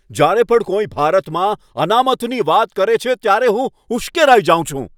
જ્યારે પણ કોઈ ભારતમાં અનામતની વાત કરે છે ત્યારે હું ઉશ્કેરાઈ જાઉં છું.